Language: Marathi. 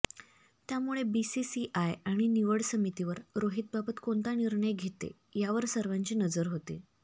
त्यामुळे बीसीसीआय आणि निवड समितीवर रोहितबाबत कोणता निर्णय घेते यावर सर्वांची नजर होती